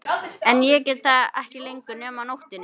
En ég get það ekki lengur nema á nóttunni.